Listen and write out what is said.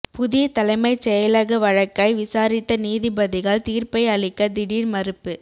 புதிய தலைமைச் செயலக வழக்கை விசாரித்த நீதிபதிகள் தீர்ப்பை அளிக்க திடீர் மறுப்பு